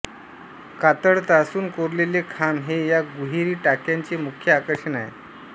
कातळ तासून कोरलेले खांब हे या गुहेरी टाक्यांचे मुख्य आकर्षण आहे